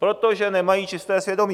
Protože nemají čisté svědomí.